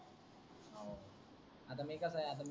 आता मी कसा आहे आता मी,